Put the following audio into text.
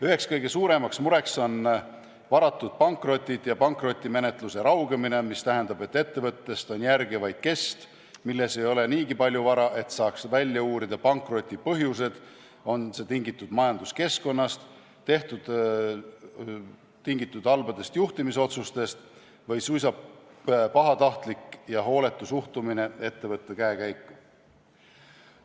Üks suuremaid muresid on varatud pankrotid ja pankrotimenetluse raugemine, mis tähendab, et ettevõttest on järel vaid kest, milles ei ole niigi palju vara, et saaks välja uurida pankroti põhjused, kas see on tingitud majanduskeskkonnast, halbadest juhtimisotsustest või suisa pahatahtlik ja hooletu suhtumine ettevõtte käekäiku.